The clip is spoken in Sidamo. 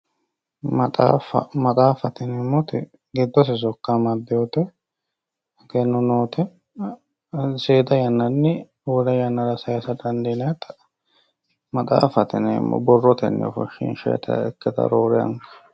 Maxaafa, maxaafate yineemmoti giddose sokka amadinotta egenno nootta seeda yannanni wole yannara saysa dandinannitta maxaafate yineemmo borrotenni ofonshishannita ikkittano roore anga.